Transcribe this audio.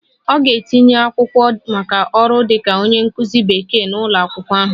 Ọ ga-etinye akwụkwọ maka ọrụ dịka onye nkụzi Bekee n'ụlọ akwụkwọ ahụ